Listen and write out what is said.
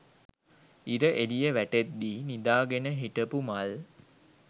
ඉර එළිය වැටෙද්දි නිදාගෙන හිටපු මල්